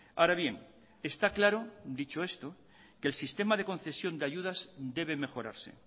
ahora bien está claro dicho esto que el sistema de concesión e ayudas debe mejorarse